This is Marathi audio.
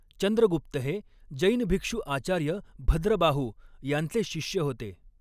चंद्रगुप्त हे जैन भिक्षू आचार्य भद्रबाहू यांचे शिष्य होते.